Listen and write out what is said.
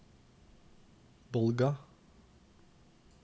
Bolga